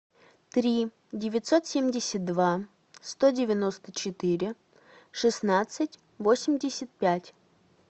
три девятьсот семьдесят два сто девяносто четыре шестнадцать восемьдесят пять